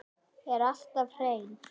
Er alltaf hrein.